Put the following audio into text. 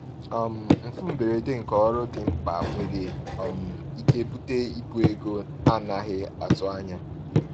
um Mfu mberede nke ọrụ dị mkpa nwere um ike bute ibu ego a naghị atụ anya.